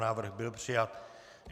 Návrh byl přijat.